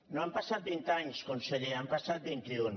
no han passat vint anys conseller n’han passat vint i un